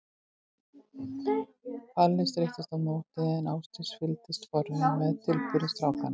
Palli streittist á móti en Ásdís fylgdist forviða með tilburðum strákanna.